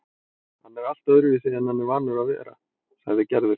Hann er allt öðruvísi en hann er vanur að vera, sagði Gerður.